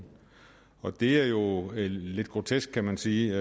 og det er jo lidt grotesk kan man sige